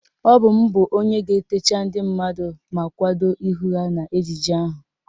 Ọ bụ m bụ onye ga-etecha ndị mmadụ ma kwado ihu ha n'ejije ahụ